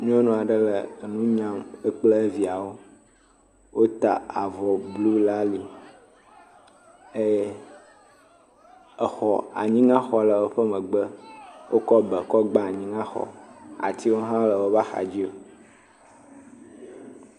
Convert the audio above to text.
Nyɔnu aɖe le enu nyam, wo kple eviawo, wota avɔ le ali eye exɔ anyiŋa xɔ le woƒe megbe, wokɔ be gba anyiŋaxɔ, atiwo hã le woƒe axadziwo.